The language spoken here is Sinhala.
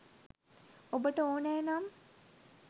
ඔබට ඕනෑ නම්